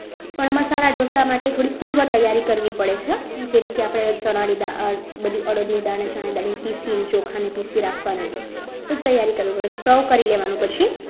પણ મસાલા ઢોસા માટે થોડીક પૂર્વ તૈયારી કરવી પડે છે જેમકે આપણે ચણાની દાળ અડદની દાળ પીસીને ચોખાને પીસી રાખવાના એ બધી તૈયારી કરવી પડે છે સૌ કરી લેવાનું પછી